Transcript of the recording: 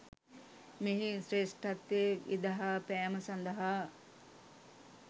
මෙහි ශ්‍රේෂ්ඨත්වය විදහා පෑම සඳහා